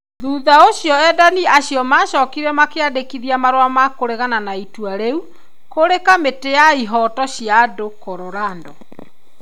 Thutha ũcio, endani acio maacokire makĩandĩkithia marũa ma kũregana na itua, rĩu kũrĩ Kamĩtĩ ya ihooto cĩa andũ ,Colorado.